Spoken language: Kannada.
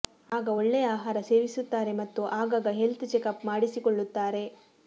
ಆಗ ಒಳ್ಳೆಯ ಆಹಾರ ಸೇವಿಸುತ್ತಾರೆ ಮತ್ತು ಆಗಾಗ ಹೆಲ್ತ್ ಚೆಕಪ್ ಮಾಡಿಸಿಕೊಳ್ಳುತ್ತಾರೆ